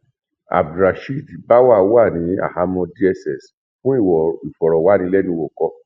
abdulrasheed báwa wà ní àhámọ dss fún ìfọrọwánilẹnuwò kọ